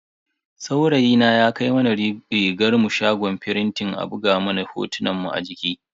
Saurayina ya kai mana rigarmu shagon firintin a buga mana hotonmu a jiki.